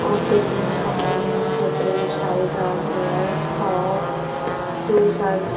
of different companies different size are there shop juicers--